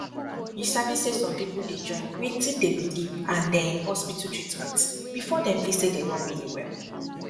you sabi say some people dey join wetin dey believe and ehh hospital treatment before dem feel say dem don really well